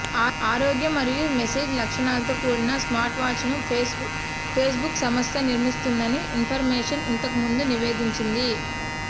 ఆరోగ్యం మరియు మెసేజ్ లక్షణాలతో కూడిన స్మార్ట్వాచ్ను ఫేస్బుక్ సంస్థ నిర్మిస్తోందని ఇన్ఫర్మేషన్ ఇంతకు ముందు నివేదించింది